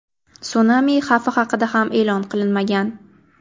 Sunami xavfi haqida ham e’lon qilinmagan.